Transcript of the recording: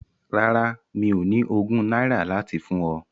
Rárá, mi ò ní ogún náírà láti fún ọ.